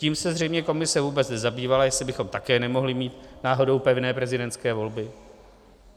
Tím se zřejmě komise vůbec nezabývala, jestli bychom také nemohli mít náhodou pevné prezidentské volby.